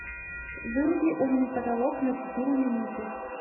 выруби умный потолок на четыре минуты